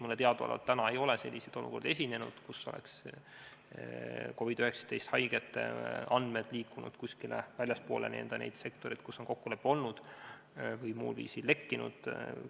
Mulle teadaolevalt ei ole selliseid olukordi esinenud, kus oleks COVID-19 haigete andmed liikunud kuskile väljapoole neid sektoreid, kus on kokkulepe olnud, või muul viisil lekkinud.